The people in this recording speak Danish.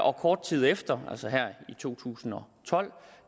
og kort tid efter altså her i to tusind og tolv